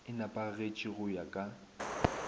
e nepagetše go ya ka